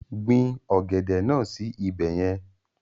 Gbin ọ̀gẹ̀dẹ̀ náà sí ibẹ̀ yẹn.